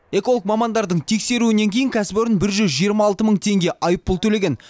эколог мамандардың тексеруінен кейін кәсіпорын бір жүз жиырма алты мың теңге айыппұл төлеген